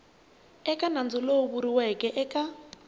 eka nandzu lowu vuriweke eka